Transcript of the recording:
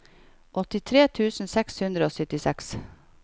åttitre tusen seks hundre og syttiseks